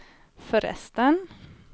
förresten